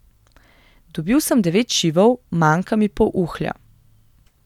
Dobil sem devet šivov, manjka mi pol uhlja.